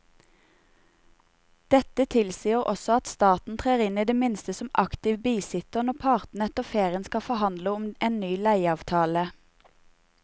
Dette tilsier også at staten trer inn i det minste som aktiv bisitter når partene etter ferien skal forhandle om en ny leieavtale.